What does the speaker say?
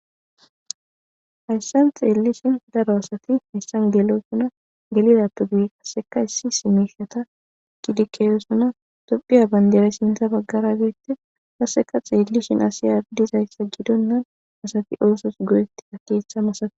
Hayssan xeellishin daro asati hissan gelosuna gelidappegue kasseka issi simishata gidikeezosuna dophiya bandere sintha baggara geette kasseka xeellishin asi ardizayssa gidonnan asati oosos goyetti akeetha masates.